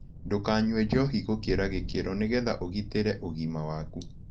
Ndũkanyũe njohĩ gũkĩra gĩkĩro nĩgetha ũgĩtĩre ũgima wakũ